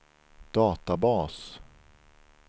databas